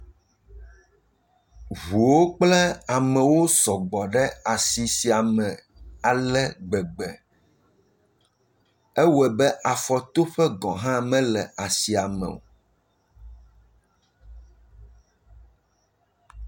Ʋuwo kple amewo sɔ gbɔ ɖe asi sia me ale gbegbe. Ewɔe be afɔtoƒe gɔ̃ hã mele asia me o.